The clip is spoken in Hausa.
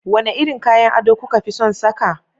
Wane irin kayan ado kuka fi son saka?